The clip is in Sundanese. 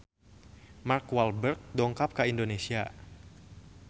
Mark Walberg dongkap ka Indonesia